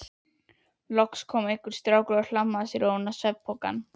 Loks kom einhver strákur og hlammaði sér ofan á svefnpokann.